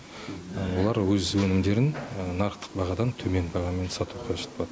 олар өз өнімдерін нарықтық бағадан төмен бағамен сату қажет болады